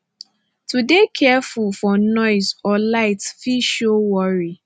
to de careful for noise or light fit show worry